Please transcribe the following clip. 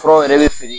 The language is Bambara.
Furaw yɛrɛ bɛ feere